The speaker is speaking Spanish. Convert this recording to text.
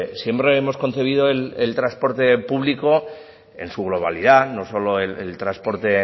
siempre hemos concebido el transporte público en su globalidad no solo el transporte